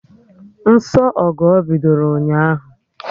Nsọ Ọgọ bidoro ụnyaahụ